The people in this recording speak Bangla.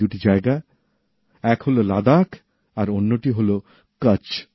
এই দুই জায়গা এক হল লাদাখ আর অন্যটি হল কচ্ছ